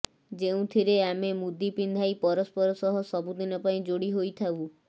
ଯେଉଁଥିରେ ଆମେ ମୁଦି ପିନ୍ଧାଇ ପରସ୍ପର ସହ ସବୁଦିନ ପାଇଁ ଯୋଡି ହୋଇଥାଉ